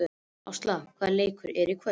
Ásla, hvaða leikir eru í kvöld?